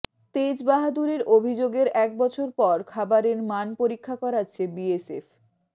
তেজবাহাদুরের অভিযোগের একবছর পর খাবারের মান পরীক্ষা করাচ্ছে বিএসএফ